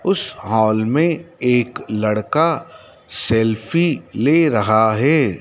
उस हाल में एक लड़का सेल्फी ले रहा है।